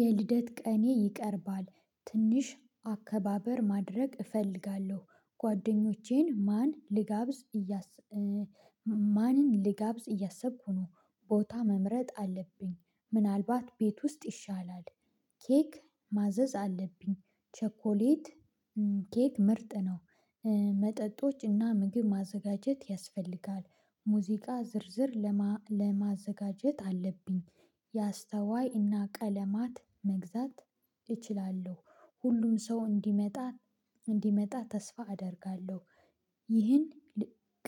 የልደት ቀኔ ይቀርባል ትንሽ አከባበር ማድረግ እፈልጋለሁ ጓደኞቼን ማን ልጋብዝ እያሰ ማንን ልጋብዝ እያሰብኩ ነው። ቦታ መምረጥ አለብኝ ምናልባት ቤት ውስጥ ይሻላል። ኬክ ማዘዝ አለብኝ ቸኮሌት ኬክ ምርጥ ነው። መጠጦችና ምግብ ማዘጋጀት ያስፈልጋል። ሙዚቃ ዝርዝር ለማዘጋጀት አለብኝ። የአስተዋይ እና ቀለማት መግዛት እችላለሁ። ሁሉም ሰው እንዲመጣ እንዲመጣ ተስፋ አደርጋለሁ። ይህን